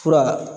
Fura